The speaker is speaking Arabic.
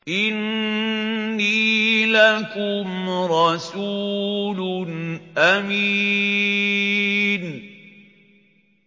إِنِّي لَكُمْ رَسُولٌ أَمِينٌ